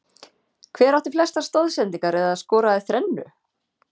Hver átti flestar stoðsendingar eða skoraði þrennu?